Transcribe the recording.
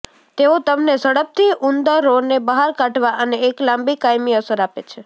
તેઓ તમને ઝડપથી ઉંદરોને બહાર કાઢવા અને એક લાંબી કાયમી અસર આપે છે